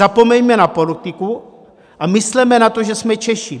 Zapomeňme na politiku a mysleme na to, že jsme Češi!